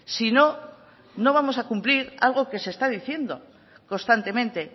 si no no vamos a cumplir algo que se está diciendo constantemente